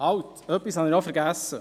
Halt: Etwas habe ich vergessen.